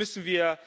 Hier müssen wir